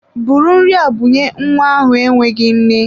Bụrụ nri a bunye nwa ahụ enweghị nne!